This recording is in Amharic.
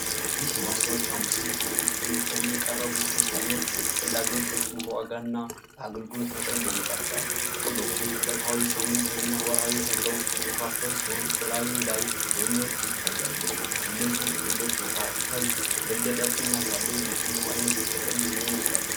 ይህ የማስታወቂያ ምስል በኢትዮ ቴሌኮም የቀረቡ ሦስት ዓይነት የጥቅል አገልግሎቶችን በዋጋና በአገልግሎት መጠን ያነጻጽራል። ጥቅሎቹ ዕለታዊ፣ ሳምንታዊ እና ወርሃዊ ተብለው የተከፋፈሉ ሲሆን፣ በላዩ ላይ ሎሚዎች ይታያሉ። ከእነዚህ ጥቅሎች መካከል የበለጠ ቅናሽ ያለው የትኛው ዓይነት ጥቅል ሊሆን ይችላል?